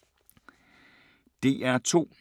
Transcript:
DR2